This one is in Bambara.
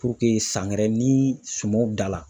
san wɛrɛ ni sumanw dala